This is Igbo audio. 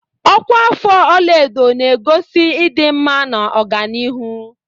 Ọkwa afọ ọlaedo na-egosi ịdị mma na ọganihu.